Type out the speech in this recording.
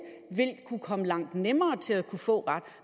vil kunne komme langt nemmere til at kunne få ret